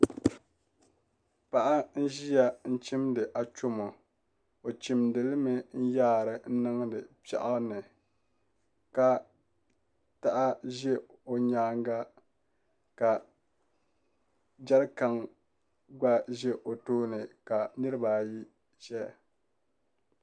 Paɣa n ʒiya n chimdi achomo o chimdili mi n yaari niŋdi piɛɣu ni ka taha ʒɛ o nyaanga ka jɛrikan gba ʒɛ o tooni ka nirabaayi ʒɛya